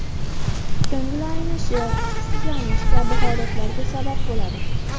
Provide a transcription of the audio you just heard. Ko‘ngil aynishi, hushsizlanish kabi holatlarga sabab bo‘ladi.